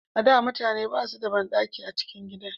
A da mutane ba su da banɗaki a cikin gida